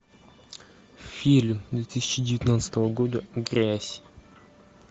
фильм две тысячи девятнадцатого года грязь